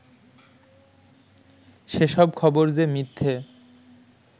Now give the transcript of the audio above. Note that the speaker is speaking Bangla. সেসব খবর যে মিথ্যে